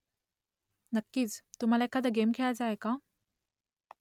नक्कीच . तुम्हाला एखादा गेम खेळायचा आहे का ?